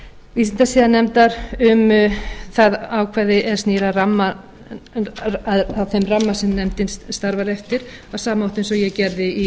vísindasiðanefndar um það ákvæði er snýr að þeim ramma sem nefndin starfar eftir á sama hátt og ég